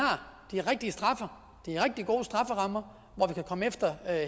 de rigtig gode strafferammer hvor vi kan komme efter